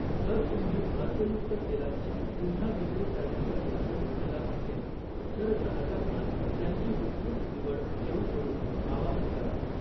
जर तुम्ही अर्कयुक्त तेलांची पुन्हा विक्री करण्याचा निर्णय घेतला असेल, तर ग्राहकांना त्यांची विस्तृत निवड देऊ करून आवाहन करा.